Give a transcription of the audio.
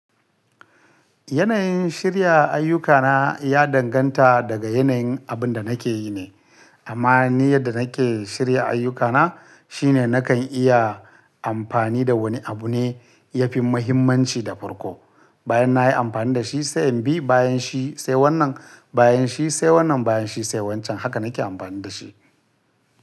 Yanayin shirya ayyukana ya danganta daga yanayin abin da nake yi ne. Amma ni yadda nake shirya ayyukana shine nakan iya amfani da wani abu ne yafi muhimmanci da farko, bayan nayi amfani da shi sai in bi bayan shi, sai wannan bayan shi, sai wannan bayan shi sai wancan haka nake amfani da shi.